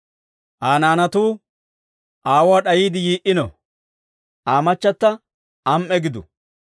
Aa naanatuu aawuwaa d'ayiide yii"ino; Aa machata am"e gidu!